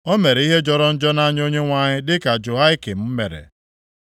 O mere ihe jọrọ njọ nʼanya Onyenwe anyị dịka Jehoiakim mere.